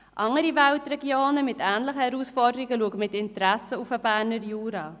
Andere Weltregionen mit ähnlichen Herausforderungen schauen mit Interesse auf den Berner Jura.